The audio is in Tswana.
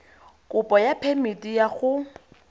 kopo ya phemiti ya go